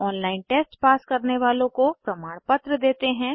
online test pass करने वालों को प्रमाणपत्र देते हैं